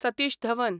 Satish Dhawan